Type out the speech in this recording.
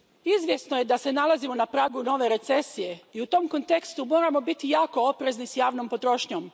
Izvjesno je da se nalazimo na pragu nove recesije i u tom kontekstu moramo biti jako oprezni s javnom potrošnjom.